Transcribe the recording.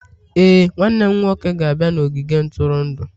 Ee, nwanne m nwoke ga-abịa n'ogige ntụrụndụ